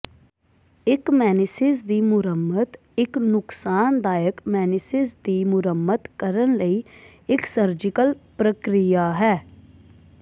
ਇਕ ਮੇਨਿਸਿਸ ਦੀ ਮੁਰੰਮਤ ਇਕ ਨੁਕਸਾਨਦਾਇਕ ਮੇਨਿਸਿਸ ਦੀ ਮੁਰੰਮਤ ਕਰਨ ਲਈ ਇਕ ਸਰਜੀਕਲ ਪ੍ਰਕਿਰਿਆ ਹੈ